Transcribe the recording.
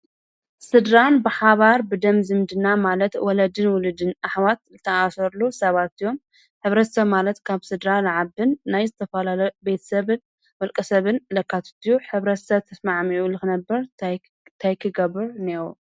ስድራን ብሓባር ብደም ዝምድና ማለት ወለድን ዉሉድን ኣሕዋት ዝተኣሰርሉ ስባት እዮም። ሕብረተሰብ ማለት ካብ ስድራ ዝዓብን ናይ ዝተፈላለዩ ቤተሰብን ዉልቀ ሰብን ዘካትት እዩ ።ሕብረተሰብ ተስማዕሚዑ ንክነብር እንታይ ክገብር እንእየዎ?